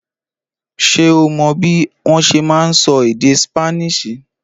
Ṣé o mò bí wọn ṣe ma nsọ èdè ṣípánísì?